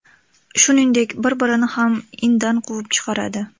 Shuningdek, bir-birini ham indan quvib chiqaradi.